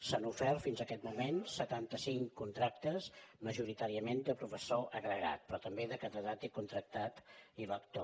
s’han ofert fins en aquest moment setanta cinc contractes majoritàriament de professor agregat però també de catedràtic contractat i lector